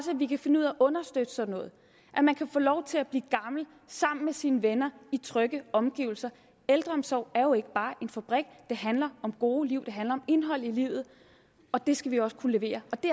vi kan finde ud af at understøtte sådan noget at man kan få lov til at blive gammel sammen med sine venner i trygge omgivelser ældreomsorg er jo ikke bare en fabrik det handler om gode liv det handler om indhold i livet og det skal vi også kunne levere og det